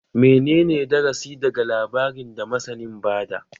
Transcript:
Menene darasi daga labarin da masanin ba da?